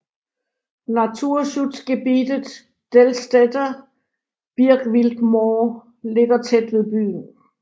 Naturschutzgebietet Dellstedter Birkwildmoor ligger tæt ved byen